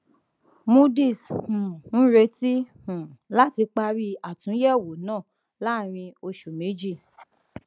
moodys um ń retí um láti parí àtúnyèwò náà láàárín oṣù méjì